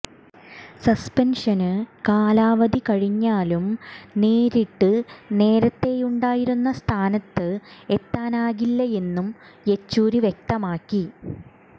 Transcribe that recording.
suspension കാലാവധി കഴിഞ്ഞാലും നേരിട്ട് നേരത്തെയുണ്ടായിരുന്ന സ്ഥാനത്ത് എത്താനാകില്ലയെന്നും യെച്ചൂരി വ്യക്തമാക്കി